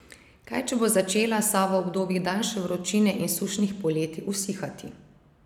Kaj če bo začela Sava v obdobjih daljše vročine in sušnih poletij usihati?